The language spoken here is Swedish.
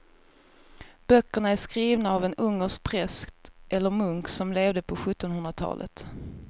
Böckerna är skrivna av en ungersk präst eller munk som levde på sjuttonhundratalet.